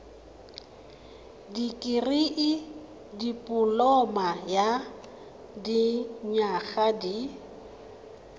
dikirii dipoloma ya dinyaga di